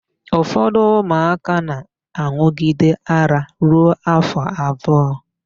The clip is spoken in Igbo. Ụfọdụ ụmụaka na-an̄ụgide ara ruo áfọ̀ abụọ.